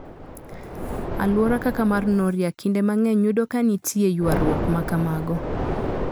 Alwora kaka mar Nooria kinde mang'eny yudo ka nitie ywaruok ma kamago.